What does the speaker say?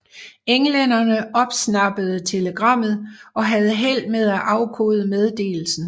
Englænderne opsnappede telegrammet og havde held med at afkode meddelelsen